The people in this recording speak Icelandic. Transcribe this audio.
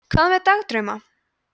hvað með dagdrauma